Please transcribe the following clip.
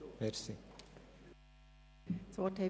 Nun haben die Fraktionen das Wort.